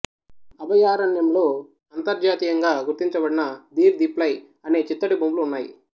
అభయారణ్యంలో అంతర్జాతీయంగా గుర్తించబడిన ధీర్ దీప్లై అనే చిత్తడిభూములు ఉన్నాయి